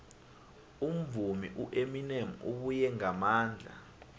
umvumi ueminem ubuye ngamandla